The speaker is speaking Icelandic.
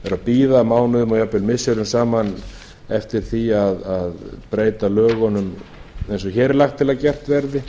bíða mánuðum eða jafnvel missirum saman eftir því að breyta lögunum eins og hér er lagt til að gert verði